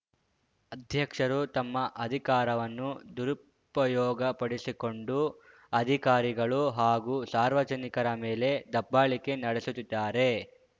ಅಧ್ಯಕ್ಷರು ತಮ್ಮ ಅಧಿಕಾರವನ್ನು ದುರುಪಯೋಗಪಡಿಸಿಕೊಂಡು ಅಧಿಕಾರಿಗಳು ಹಾಗೂ ಸಾರ್ವಜನಿಕರ ಮೇಲೆ ದಬ್ಬಾಳಿಕೆ ನಡೆಸುತ್ತಿದ್ದಾರೆ